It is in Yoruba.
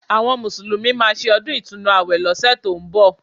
Àwọn Mùsùlùmí máa ṣe ọdún Ìtúnu àwẹ̀ lọ́sẹ̀ tó ń bọ̀